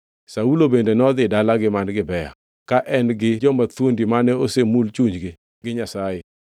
Saulo bende nodhi dalagi man Gibea, ka en gi joma thuondi mane osemul chunygi gi Nyasaye.